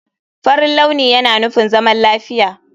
Farin launi yana nufin zaman lafiya.